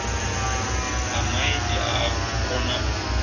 a maiti a a konau